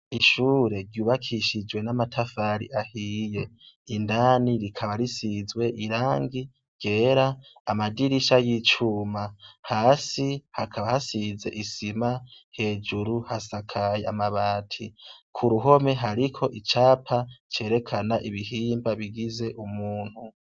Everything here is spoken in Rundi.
Ishure ryubakishijwe n'amatafari ahiye indani rikaba risizwe irangi ryera amadirisha y'icuma hasi hakaba hasize isima hejuru hasakaye amabati ku ruhome hariko icapa cerekana ibihimba bigize umuntu.